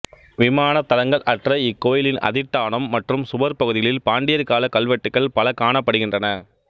விமானத் தளங்கள் அற்ற இக்கோயிலின் அதிட்டானம் மற்றும் சுவர் பகுதிகளில் பாண்டியர் காலக் கல்வெட்டுக்கள் பல காணப்படுகின்றன